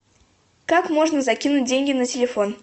как можно закинуть деньги на телефон